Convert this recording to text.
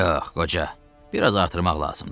Yox, qoca, biraz artırmaq lazımdır.